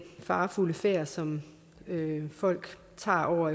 farefulde færd som folk tager over